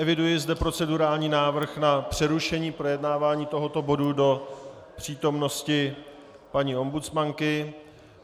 Eviduji zde procedurální návrh na přerušení projednávání tohoto bodu do přítomnosti paní ombudsmanky.